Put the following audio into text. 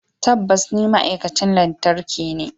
Tabbas ni ma'aikacin lantarki ne.